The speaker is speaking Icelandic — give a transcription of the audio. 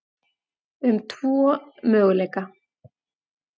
um tvo möguleika.